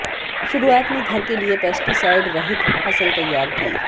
शुरूआत में घर के लिए पेस्टीसाइड रहित फसल तैयार की